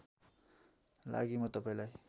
लागि म तपाईँलाई